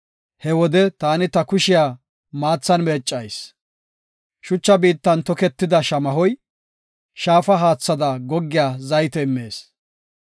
He wode taani ta kushiya maathan meeccayis; shucha biittan toketida shamahoy, shaafa haathada goggiya zayte immees.